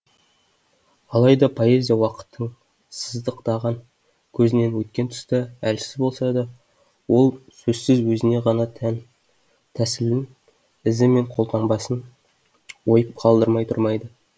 алайда поэзия уақыттың сыздықтаған көзінен өткен тұста әлсіз болса да ол сөзсіз өзіне ғана тән тәсілін ізі мен қолтаңбасын ойып қалдырмай тұрмайды